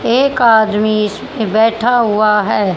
एक आदमी इसमें बैठा हुआ है।